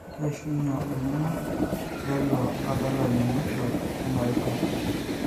Keishunye olning'o leilo adalani mwisho ena rishata